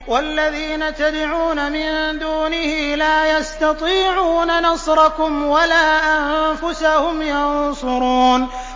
وَالَّذِينَ تَدْعُونَ مِن دُونِهِ لَا يَسْتَطِيعُونَ نَصْرَكُمْ وَلَا أَنفُسَهُمْ يَنصُرُونَ